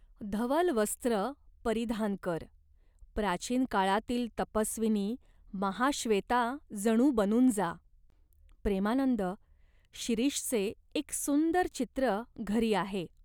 धवल वस्त्र परिधान कर. प्राचीन काळातील तपस्विनी, महाश्वेता जणू बनून जा." "प्रेमानंद, शिरीषचे एक सुंदर चित्र घरी आहे.